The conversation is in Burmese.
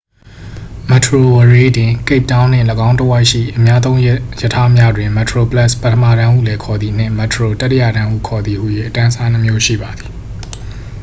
မက်တရိုဝရေး တွင် ကိပ်တောင်းနှင့် ၎င်းတစ်ဝိုက်ရှိ အများသုံးရထားများတွင် metroplus ပထမတန်းဟုလည်းခေါ်သည် နှင့် metro တတိယတန်းဟုခေါ်သည် ဟူ၍ အတန်းအစားနှစ်မျိုးရှိပါသည်။